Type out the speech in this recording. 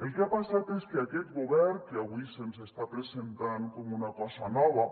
el que ha passat és que aquest govern que avui se’ns està presentant com una cosa nova